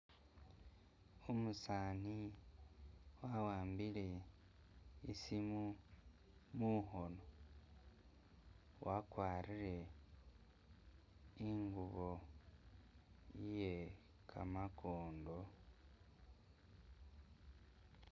Umusani wahambile isimu mukhono wagwarile ingubo iye gamakondo.